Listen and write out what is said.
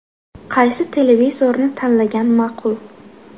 Qaysi televizorni tanlagan ma’qul?.